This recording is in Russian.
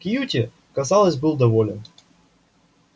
кьюти казалось был доволен